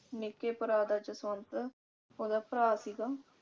ਨਿੱਕੇ ਭਰਾ ਦਾ ਜਸਵੰਤ ਉਹਦਾ ਭਰਾ ਸੀਗਾ